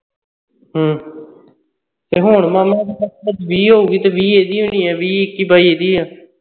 ਹੂ ਤੇ ਹੁਣ ਮਾਮਾ ਇਸ ਦੀ ਵੱਧ ਤੋਂ ਵੱਧ ਵੀਹ ਹੋਊ ਗੀ ਤੇ ਵੀਹ ਇਦੀ ਹੋਣੀ ਹੈ ਵੀਹ ਇੱਕੀ ਬਾਈ ਇਦੀ ਹੋਣੀ ਐ